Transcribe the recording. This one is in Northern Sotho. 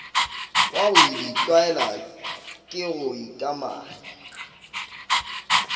wa ditlwaelwa ke go ikamanya